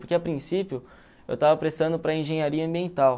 Porque, a princípio, eu estava prestando para a engenharia ambiental.